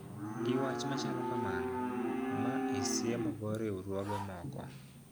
Gi wach machalo kamano ma isiemo go riwruoge moko